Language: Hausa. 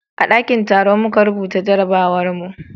a dakin taro muka rubuta jarabawar mu